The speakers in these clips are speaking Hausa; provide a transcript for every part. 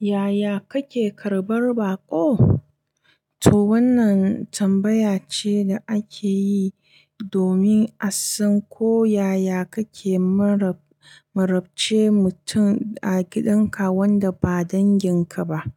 Yaya kake karɓar baƙo? To wannan tambaya ce da ake yi domin a san ko yaya kake marab-marabce mutum a gidan ka wanda ba danginka ba,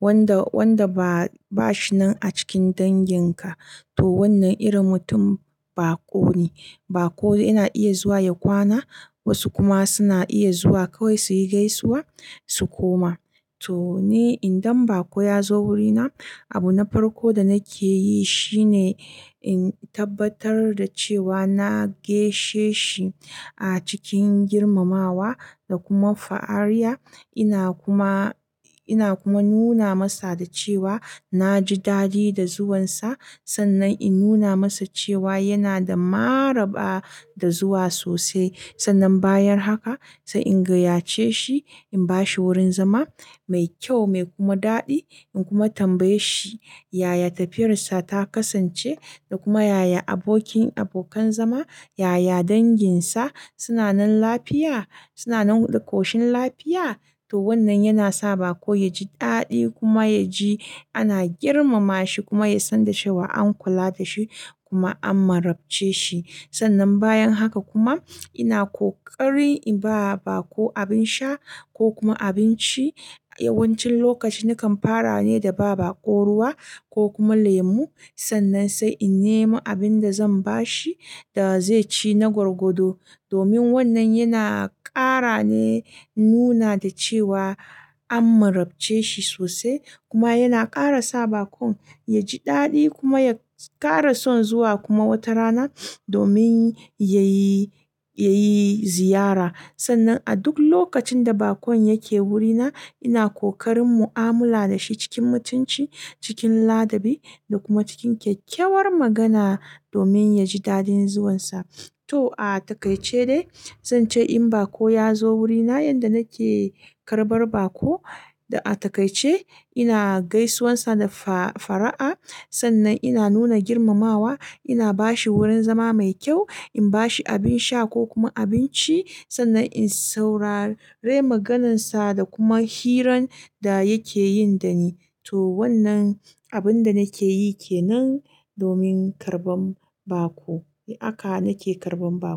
wanda, wanda ba shi nan a cikin danginka. To wannan irin mutum baƙo ne. Baƙo yana iya zuwa ya kwana, wasu kuma suna iya zuwa kawai suyi gaisuwa su koma. To ni idan baƙo ya zo wurina, abu na farko da nake yi shine in tabbatar da cewa na gaishe shi a cikin girmamawa da kuma fara'a. Ina kuma, ina kuma nuna masa da cewa na ji daɗi da zuwansa. Sannan in nuna masa cewa yana da maraba da zuwa sosai. Sannan bayan haka sai in gayyace shi, in bashi wurin zama mai kyau mai kuma daɗi, na kuma tambaye shi yaya tafiyar sa ta kasance da kuma yaya abokin-abokan zama, yaya danginsa suna nan lafiya, suna nan ƙoshin lafiya. To wannan yana sa baƙo ya ji daɗi kuma ya ji ana girmama shi kuma yasan da cewa an kula da shi kuma an marabce shi sannan bayan haka kuma ina ƙoƙarin in ba wa baƙo abin sha, ko kuma abinci. Yawancin lokaci nakan fara ne da ba baƙo ruwa ko kuma lemu. Sannan sai in nemo abin da zan ba shi da zai ci na gwargwado. Domin wannan yana ƙara ne, nuna da cewa an marabce shi sosai kuma yana ƙara sa baƙon ya ji daɗi kuma ya ƙara son zuwa kuma wata rana domin yayi, yayi ziyara. Sannan a duk lokacin da bakon yake wurina ina kokarin mu'amala da shi cikin mutunci, cikin ladabi da kuma cikin kyakkyawar magana domin ya ji daɗin zuwansa. To a taƙaice dai, zan ce in baƙo ya zo wurina yanda nake karɓar baƙo, a taƙaice ina gaisuwarsa da fa-fara'a. Sannan ina nuna girmamawa, ina bashi wurin zama mai kyau, in bashi abin sha ko kuma abinci, sannan in saurare maganansa da kuma hirar da yake yi da ni. To wannan abin da nake yi kenan domin karɓan baƙo haka nake karɓan baƙo.